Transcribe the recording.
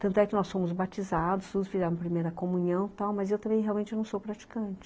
Tanto é que nós fomos batizados, nos fizemos a primeira comunhão e tal, mas eu também realmente não sou praticante.